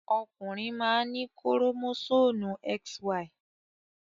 Ọkùnrin máa ń ní kórómósómù XY.